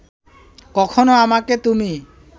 কখনো আমাকে তুমি